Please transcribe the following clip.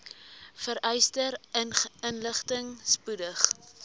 vereiste inligting spoedig